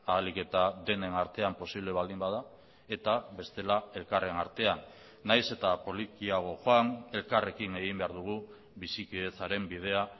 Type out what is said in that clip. ahalik eta denen artean posible baldin bada eta bestela elkarren artean nahiz eta polikiago joan elkarrekin egin behar dugu bizikidetzaren bidea